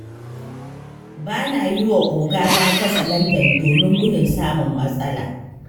Ba na yi wa ogana katsalandan, domin gudun samun matsala.